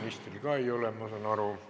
Ministril ka ei ole, ma saan aru.